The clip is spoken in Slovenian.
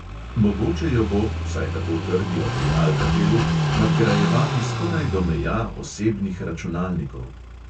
Mogoče jo bo – vsaj tako trdijo pri alkatelu – nadgrajevati skoraj do meja osebnih računalnikov.